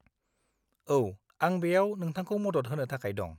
-औ, आं बेयाव नोंथांखौ मदद होनो थाखाय दं।